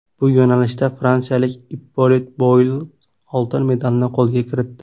Bu yo‘nalishda fransiyalik Ippolit Bouillot oltin medalni qo‘lga kiritdi.